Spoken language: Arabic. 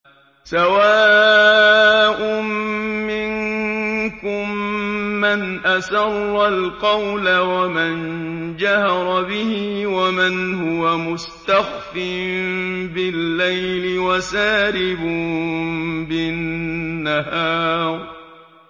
سَوَاءٌ مِّنكُم مَّنْ أَسَرَّ الْقَوْلَ وَمَن جَهَرَ بِهِ وَمَنْ هُوَ مُسْتَخْفٍ بِاللَّيْلِ وَسَارِبٌ بِالنَّهَارِ